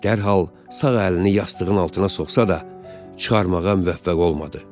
Dərhal sağ əlini yastığın altına soxsa da, çıxarmağa müvəffəq olmadı.